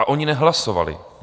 A oni nehlasovali.